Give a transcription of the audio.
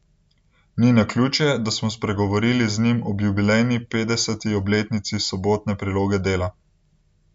Ni naključje, da smo spregovorili z njim ob jubilejni petdeseti obletnici Sobotne priloge Dela.